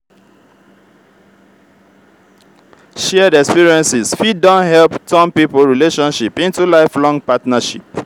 shared experiences fit don help turn pipo relationship into lifelong partnership.